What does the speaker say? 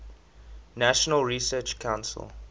national research council